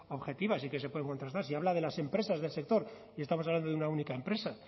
objetivas y que se pueden contrastar si habla de las empresas del sector y estamos hablando de una única empresa